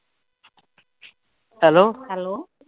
hello hello